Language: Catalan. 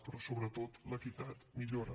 però sobretot l’equitat milloren